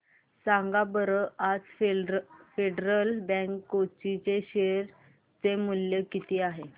सांगा बरं आज फेडरल बँक कोची चे शेअर चे मूल्य किती आहे